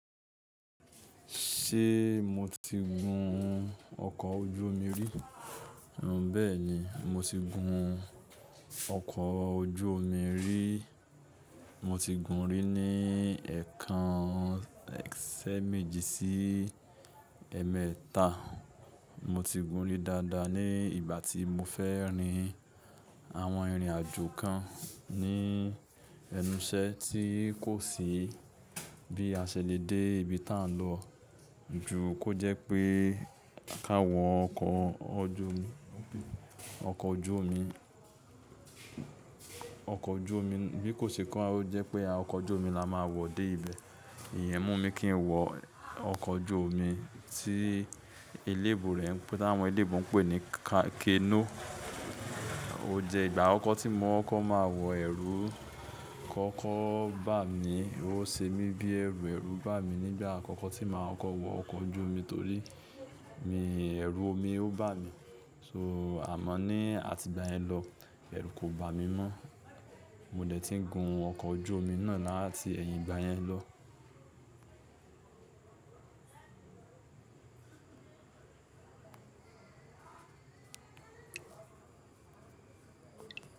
Ṣé mo ti gun ọkọ̀ ojú omi rí? Bẹ́ẹ̀ ni, mo ti gun ọkọ̀ ojú omi rí. Mo ti gun rí ní ẹ̀kan si eméjì sí ẹmẹta. Mo ti gun rí dáadáa ní ìgbà tí mo fẹ́ rin àwọn ìrìnàjò kan ní ẹnuṣẹ tí kò sí bí a ṣe le dé ibi tá ń lọ jù kó jẹ́ pé ká wọ ọkọ̀ ojú omi. Bí kò sì kán, ó jẹ́ pé ọkọ̀ ojú omi la máa wọ̀ dé ibẹ̀. Ìyẹn mú mi kí n wọ ọkọ̀ ojú omi tí eléébù rẹ̀ tí àwọn oloyinbo ń pè ní canoe. Ó jẹ ìgbà akokọ tí mo máa wọ, ẹ̀rù kọ́kọ́ bà mí. Ó ṣe mí bí ẹ̀rù ẹrù bà mí nígbà àkọ́kọ́ tí màá koko wọ ọkọ̀ ojú omi torí mi ẹ̀rù omi ó bà mí. So àmọ́ ní àti ìgbà yẹn lọ, ẹ̀rù kò bà mí mọ́. Mo dẹ̀ ti ń gun ọkọ̀ ojú omi náà láti ẹ̀yìn ìgbà yẹn lọ.